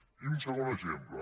i un segon exemple